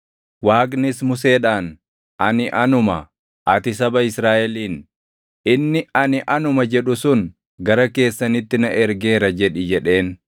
Waaqnis Museedhaan, “ ANI ANUMA; ati saba Israaʼeliin, ‘Inni ANI ANUMA jedhu sun gara keessanitti na ergeera’ jedhi” jedheen.